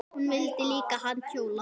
Vildu líka halda jól.